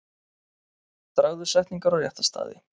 Dragðu setningar á rétta staði.